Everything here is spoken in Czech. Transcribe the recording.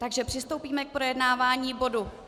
Takže přistoupíme k projednávání bodu